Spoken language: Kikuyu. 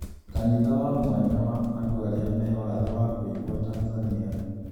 Kanitha wa mwanya wa andũ arĩa me wathe wa kũigua Tanzania